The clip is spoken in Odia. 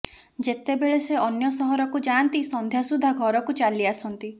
ଯେତେବେଳେ ସେ ଅନ୍ୟ ସହରକୁ ଯାଆନ୍ତି ସନ୍ଧ୍ୟା ସୁଦ୍ଧା ଘରକୁ ଚାଲିଆସନ୍ତି